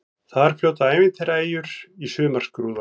Þar fljóta ævintýraeyjur í sumarskrúða.